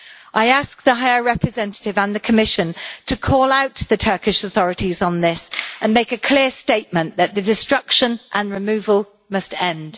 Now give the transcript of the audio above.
I ask the High Representative and the Commission to call out to the Turkish authorities on this and make a clear statement that the destruction and removal must end.